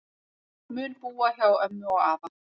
Mun búa hjá ömmu og afa